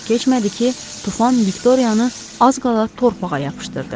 Çox keçmədi ki, tufan Viktoriyanı az qala torpağa yapışdırdı.